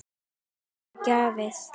Ekkert er gefið.